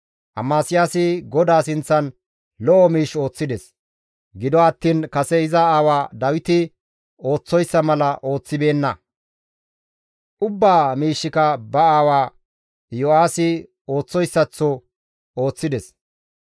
Amasiyaasi GODAA sinththan lo7o miish ooththides; gido attiin kase iza aawa Dawiti ooththoyssa mala ooththibeenna; ubbaa miishshika ba aawa Iyo7aasi ooththoyssaththo ooththides.